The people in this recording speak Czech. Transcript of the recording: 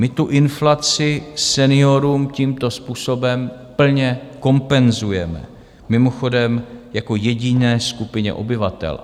My tu inflaci seniorům tímto způsobem plně kompenzujeme, mimochodem jako jediné skupině obyvatel.